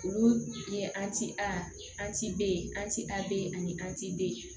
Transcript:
Olu ye an ti a an ti b' ye an ti a be ani an t'e